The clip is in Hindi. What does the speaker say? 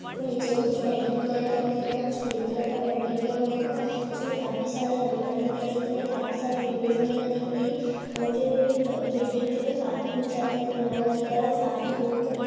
नीचे मे कुछ पेंटिंग वगेरह किया हुआ दिख रहा है | कुछ क्रीम कलर का पेंटिंग किया हुआ दिख रहा है | इसमे काफी सारे अलमारी वगैरह दिख रहे है काफी सारे विंडोज वगेरह दिख रही है और जो एक बिल्डिंग जो है काफी ऊंचा तक फैला हुआ दिख रहा है काफी दूर तक --